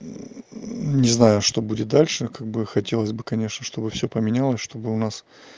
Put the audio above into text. не знаю что будет дальше как бы хотелось бы конечно чтобы все поменялось чтобы у нас